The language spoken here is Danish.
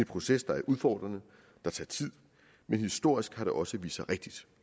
proces der er udfordrende der tager tid men historisk har det jo også vist sig rigtigt